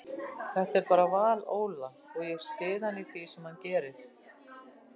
Þetta er bara val Óla og ég styð hann í því sem hann gerir.